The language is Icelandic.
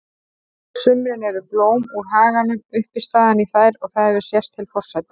sumrin eru blóm úr haganum uppistaðan í þær og það hefur sést til forseta